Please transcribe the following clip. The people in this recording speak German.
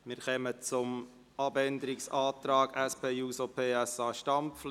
Wir kommen zum Abänderungsantrag SP-JUSO-PSA, Stampfli.